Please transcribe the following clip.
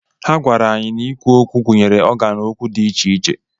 Ha gwara anyị na ikwu okwu gụnyere ọgan okwu dị iche iche.